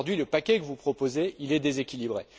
Aujourd'hui, le paquet que vous proposez est déséquilibré.